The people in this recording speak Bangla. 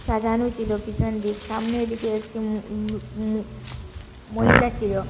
সাজানো ছিল পিছনদিক সামনে এদিকে একটি ম-ম-ম-মহিলা ছিল।